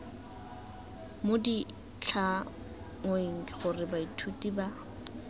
mo ditlhangweng gore baithuti ba